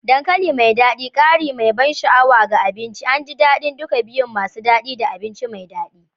Dankali mai dadi, ƙari mai ban sha'awa ga abinci, an ji daɗin duka biyun masu daɗi da abinci mai daɗi.